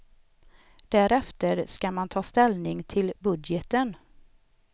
Därefter ska man ta ställning till budgeten.